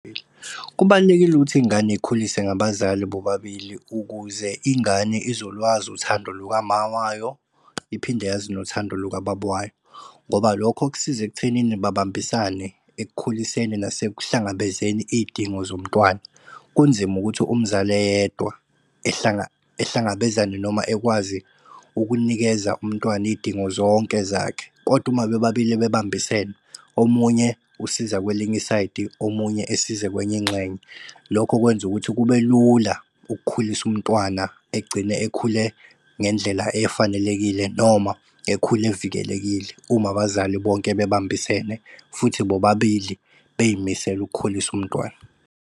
Kubalulekile ukuthi iy'ngane y'khuliswe ngabazali bobabili ukuze ingane izolwazi uthando lukama wayo, iphinde yazi nothando lukababa wayo. Ngoba lokho kusiza ekuthenini babambisane ekukhuliseni, nase kuhlangabezeni iy'dingo zomntwana. Kunzima ukuthi umzali eyedwa ehlangabezane noma ekwazi ukunikeza umntwana iy'dingo zonke zakhe, kodwa uma bebabili bebambisene, omunye usiza kwelinye isayidi, omunye esize kwenye ingxenye. Lokho kwenza ukuthi kube lula ukukhulisa umntwana egcine ekhule ngendlela efanelekile, noma ekhule evikelekile uma abazali bonke bebambisene, futhi bobabili bey'misele ukukhulisa umntwana.